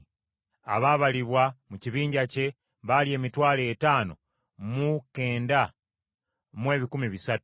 Abaabalibwa mu kibinja kye baali emitwalo etaano mu kenda mu ebikumi bisatu (59,300).